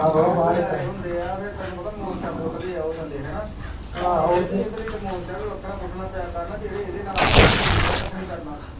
ਤੰਬੂ ਲਾਏ ਹੁੰਦੇ ਆ ਫੇਰ ਤੈਨੂੰ ਪਤਾ ਫੇਰ ਮੋਰਚਾ ਪੁੱਟਦੇ ਆ ਉਹ ਥੱਲੇ ਆਹੋ ਇਹਦੇ ਲਈ ਮੋਰਚਾ ਵੀ ਵੱਖਰਾ ਪੁੱਟਣਾ ਪਿਆ ਕਰਨਾ ਜਿਹੜੇ ਇਹਦੇ ਨਾਲ ਆ ਓਹਦੇ ਥੱਲਿਓਂ ਦੀਖਿਆ ਕੱਖ ਨਹੀਂ ਕਰਨਾ।